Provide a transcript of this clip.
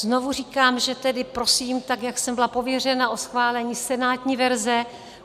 Znovu říkám, že tedy prosím, tak jak jsem byla pověřena, o schválení senátní verze.